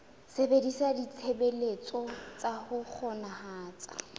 sebedisa ditshebeletso tsa ho kgonahatsa